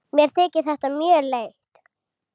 Mér þykir þetta mjög leitt.